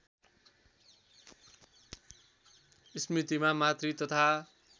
स्मृतिमा मातृ तथा